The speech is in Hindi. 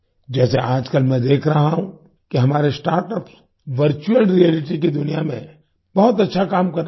जैसे आजकल मैं देख रहा हूँ कि हमारे स्टार्टअप्स वर्चुअल रियालिटी की दुनिया में बहुत अच्छा काम कर रहे हैं